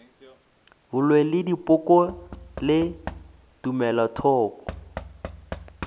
boloi le dipoko le tumelothoko